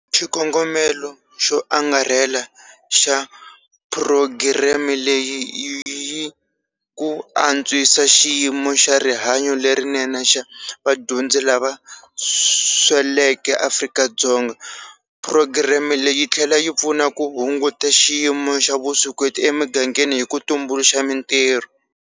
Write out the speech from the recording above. Xikongomelo xo angarhela xa phurogireme leyi i ku antswisa xiyimo xa rihanyo lerinene xa vadyondzi lava sweleke eAfrika-Dzonga. Phurogireme leyi tlhela yi pfuna ku hunguta xiyimo xa vuswikoti emigangeni hi ku tumbuluxa mitirho.